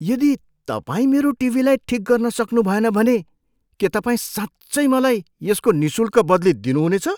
यदि तपाईँ मेरो टिभीलाई ठिक गर्न सक्नुभएन भने के तपाईँ साँच्चै मलाई यसको निःशुल्क बदली दिनु हुनेछ?